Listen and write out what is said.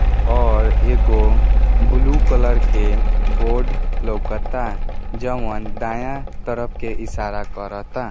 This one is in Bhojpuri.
और एगो ब्लू कलर के बोर्ड लोकता जोअन दायाँ तरफ के इशारा करता।